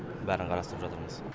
бәрін қарастырып жатырмыз